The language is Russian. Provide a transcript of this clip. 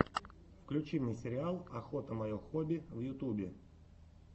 включи мне сериал охота мое хобби в ютубе